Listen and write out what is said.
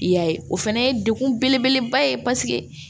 I y'a ye o fana ye degun belebeleba ye paseke